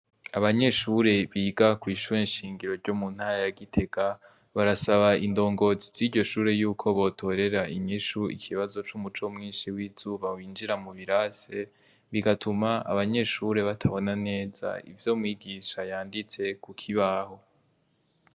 Abanyeshuri biga kw'ishure shingiro ryo muntara ya gitega, barasaba indongozi ziryo shure yuko botorera inyishu ikibazo c'umuco mwinshi w'izuba winjira mubirasi, bigatuma abanyeshure batabona neza ivyo mwigisha yanditse kukibaho.